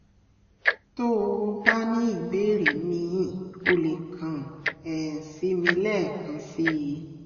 tó o bá ní ìbéèrè míì o lè kàn um sí mi lẹ́ẹ̀kan sí i